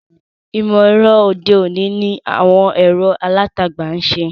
Ìmọ̀-ẹ̀rọ òde-òní ni àwọn ẹ̀rọ alátagbà ń ṣe.